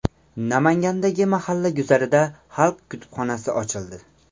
Namangandagi mahalla guzarida xalq kutubxonasi ochildi.